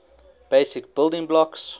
basic building blocks